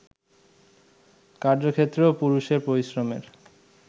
কার্যক্ষেত্রেও পুরুষের পরিশ্রমের